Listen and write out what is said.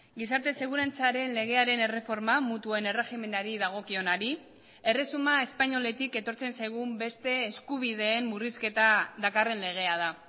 gizarte segurantzaren legearen erreforma mutuen erregimenari dagokionari erresuma espainoletik etortzen zaigun beste eskubideen murrizketa dakarren legea da